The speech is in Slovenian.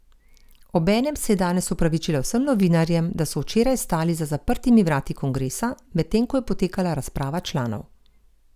Obenem se je danes opravičila vsem novinarjem, da so včeraj stali za zaprtimi vrati kongresa, medtem ko je potekala razprava članov.